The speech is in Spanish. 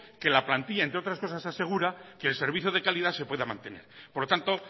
que la plantillan entre otras cosas asegura que el servicio de calidad se pueda mantener por lo tanto